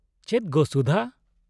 ᱪᱮᱫ ᱜᱳ, ᱥᱩᱫᱷᱟ !